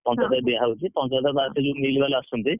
ପଞ୍ଚାୟତରେ ଦିଆ ହଉଛି ପଞ୍ଚାୟତରେ ବାସ ସେ ଯୋଉ mill ବାଲା ଆସୁଛନ୍ତି।